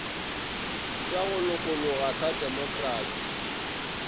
sa go lokologa sa demokrasi